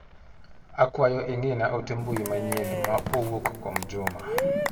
Akwayo ing'ina ote mbui manyien ma owuok kuom Juma.